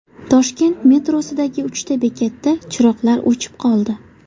Toshkent metrosidagi uchta bekatda chiroqlar o‘chib qoldi.